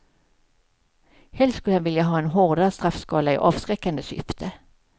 Helst skulle han vilja ha en hårdare straffskala, i avskräckande syfte.